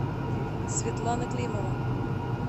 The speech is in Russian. светлана климова